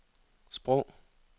sprog